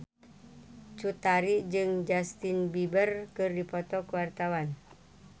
Cut Tari jeung Justin Beiber keur dipoto ku wartawan